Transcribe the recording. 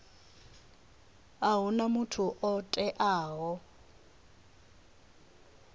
a huna muthu o teaho